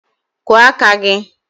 Kụọ aka gị!